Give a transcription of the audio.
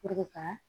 ka